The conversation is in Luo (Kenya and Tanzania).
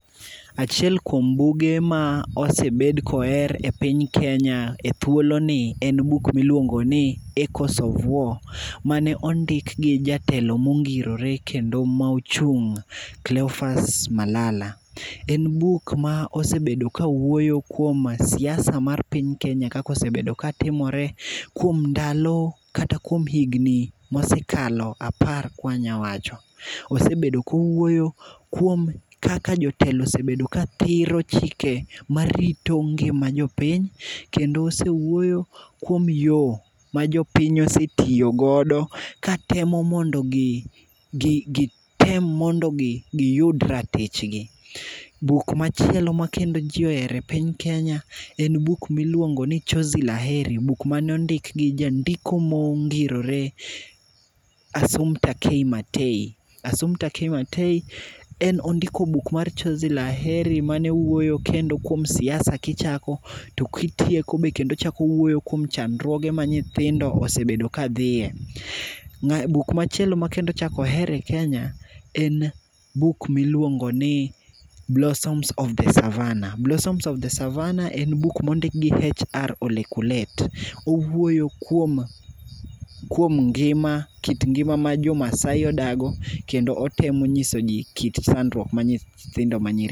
Achiel kuom buge mose bed koher e piny Kenya ethuoloni en buk miluongo ni Echoes of War, mane ondik gi jatelo mongirore kendo mane ochung' , Cleophas Malala. En buk ma osebedo ka wuoyo kuom siasa mar piny Kenya kaka osebedo katimore kuom ndalo kata kuon higni mokalo apar ka wanyalo wacho. Osebedo kowuoyo kuom kaka jotelo osebedo kathiro chike ma rito ngims jopiny kendo osewuoyo kuom yo majopiny osetiyo godo katemo mondo giyud ratichgi. Buk machielo makendo ji ohero e piny Kenya en buk miluongo ni Chozi la Heri, buk mane ondik gi jandiko mongirore Asumpta Kei Matei. Asumpta Kei Matei en ondiko buk mar Chozi la Heri, mane wuoyo kuom siasa kichako to kitieko kendo ochako owuoyo kuom chandruoge ma nyithindo osebedo ka dhiye. Buk machielo ma kendo ochako oher e Kenya en buk miluongo ni Blossoms of The Savanna. Blossoms of The Savanna en buk ma ondik gi H.R.Olekulet. Owuoyo kuom kuom ngima, kit ngima ma jo Maasai odago kendo otemo onyiso ji kit chandruok ma nyithindo manyiri